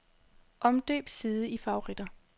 Omdøb side i favoritter.